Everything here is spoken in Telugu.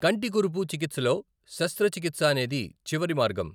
కంటికురుపు చికిత్సలో శస్త్రచికిత్స అనేది చివరి మార్గం.